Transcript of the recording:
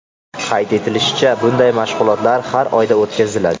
Qayd etilishicha, bunday mashg‘ulotlar har oyda o‘tkaziladi.